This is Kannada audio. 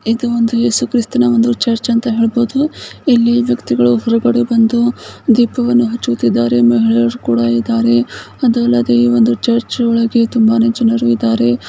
ಇದು ಒಂದು ಏಸುಕ್ರಿಸ್ತನ ಚಾರ್ಜ್ ಅಂತ ಹೇಳಬಹುದು ಇಲ್ಲಿ ವ್ಯಕ್ತಿಗಳು ಬಂದು ಹೊರಗಡೆ ದೀಪವನ್ನು ಹಚ್ಚುತ್ತಿದ್ದಾರೆ ಚರ್ಚ್ ಒಳಗಡೆ ತುಂಬಾನೇ ಜನ ಇದ್ದಾರೆ.